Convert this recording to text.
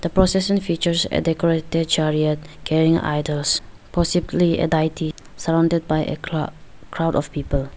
The procession features a decorated chariot carrying idols possibly a diety surrounded by a cro crowd of people.